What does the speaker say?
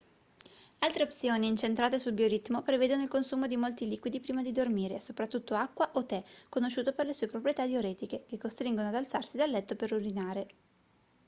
altre opzioni incentrate sul bioritmo prevedono il consumo di molti liquidi prima di dormire soprattutto acqua o tè conosciuto per le sue proprietà diuretiche che costringono ad alzarsi da letto per urinare